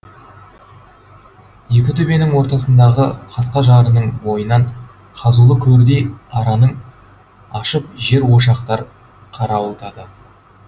екі төбенің ортасындағы қасқа жарының бойынан қазулы көрдей аранын ашып жер ошақтар қарауытады